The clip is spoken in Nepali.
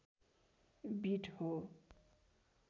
बिट हो